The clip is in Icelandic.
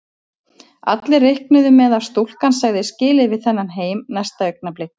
Allir reiknuðu með að stúlkan segði skilið við þennan heim næsta augnablik.